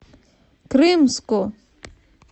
крымску